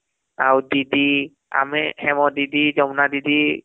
ଆଉ ଦିଦି ଆମେ ହେମ ଦିଦି , ଯମୁନା ଦିଦି